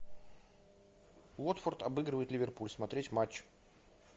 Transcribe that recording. уотфорд обыгрывает ливерпуль смотреть матч